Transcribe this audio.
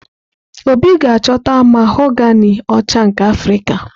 Obi ga-achọta mahogani ọcha nke Afrika.